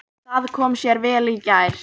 Það kom sér vel í gær.